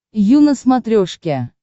ю на смотрешке